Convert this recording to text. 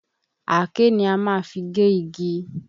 Àáké ni a má fi gé igi